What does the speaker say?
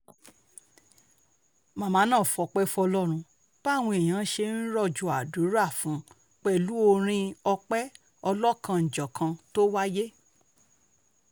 màmá náà fọpẹ́ fọlọ́run báwọn èèyàn ṣe ń rọ̀jò àdúrà fún un pẹ̀lú orin ọ̀pẹ ọlọ́kan-ò-jọ̀kan tó wáyé